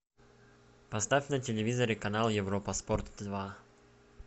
поставь на телевизоре канал европа спорт два